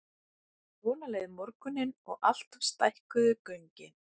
Svona leið morgunninn og alltaf stækkuðu göngin.